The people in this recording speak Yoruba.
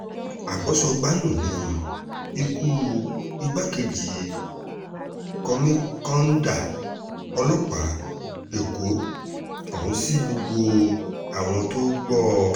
agbo-sọgbà-nu ni ikú igbákejì kọ́míkànńdà ọlọ́pàá èkó ọ̀hún sí gbogbo àwọn tó gbọ́ ọ